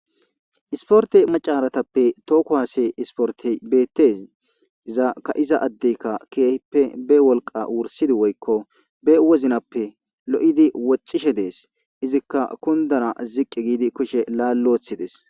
Isiporete bessani tohho kuwasse isiportiyi betesi iza ka'iza adeyika be woliqqa wurisid woyikko be wozinappe woxishe desi ikka ziqi gidi ba kushe lali wothis